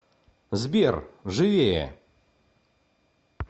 сбер живее